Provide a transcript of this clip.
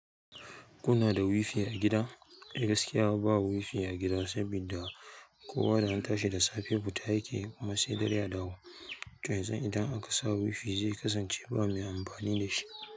Kuna da wi-fi a gida? Gaskiya ba wi-fi a gida, saboda kowa da antashi da safe fita yake, kuma sai dare a dawo. To yanzu idan aka sa wi-fi zai kasance ba mai amfani da shi.